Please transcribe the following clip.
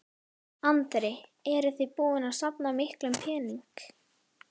Andri: Eruð þið búin að safna miklum pening?